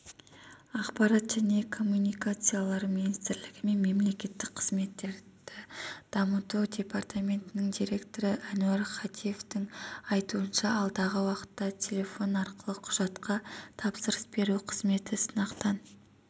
ақпарат және коммуникациялар министрлігі мемлекеттік қызметтерді дамыту департаментінің директоры әнуар хатиевтің айтуынша алдағы уақытта телефон арқылы құжатқа тапсырыс беру қызметі сынақтан